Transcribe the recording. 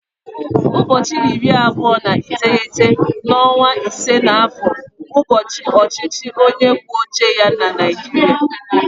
Ụbọọchi iri abụọ na iteghete n'ọnwa ise na afọ bụ bụ ụbọọchi ọchịchị onye kwuo uche ya na Naịjirịa.